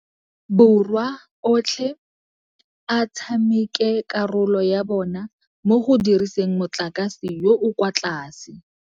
Borwa otlhe a tshameke karolo ya bona mo go diriseng motlakase yo o kwa tlase.